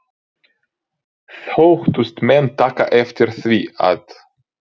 Þóttust menn taka eftir því, að